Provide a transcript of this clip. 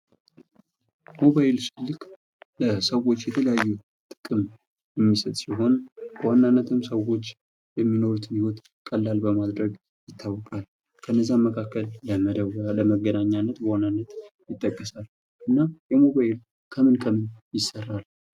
ሞባይል ስልክ ለሰዎች የተለያዩ ጥቅም የሚሰጥ ሲሆን በዋናነትም ሰዎች የሚኖሩትን ህይወት ቀላል በማድረግ ይታወቃል ከእነዛም መካከል ለመደወያ ለወገናኛነት በዋነኝነት ይጠቀሳል እና ይህ ሞባይል ከምን ከምን ይሰራል?